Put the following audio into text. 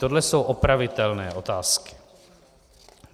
Tohle jsou opravitelné otázky.